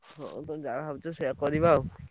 ହଁ ତମେ ଯାହା ଭାବୁଛ ସେୟା କରିବା ଆଉ।